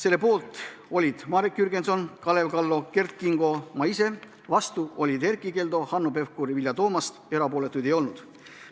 Selle poolt olid Marek Jürgenson, Kalev Kallo ja Kert Kingo, ma ise, vastu olid Erkki Keldo, Hanno Pevkur ja Vilja Toomast, erapooletuid ei olnud.